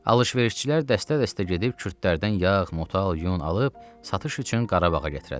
Alışverişçilər dəstə-dəstə gedib kürdlərdən yağ, motal, yun alıb satış üçün Qarabağa gətirərlər.